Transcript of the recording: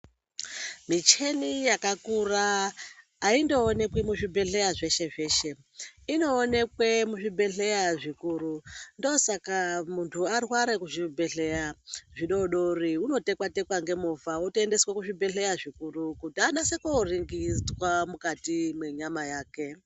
Micheni yakakura aindoonekwi muzvibhedhlera zveshe-zveshe. Inoonekwe muzvibhedhlera zvikuru. Ndosaka munhu arwara muzvibhedhlera zvidodori unotekwa-tekwa ngemovha wotoendeswa kuzvibhedhlera zvikuru kuti anyase koringirwa mukati menyama yake.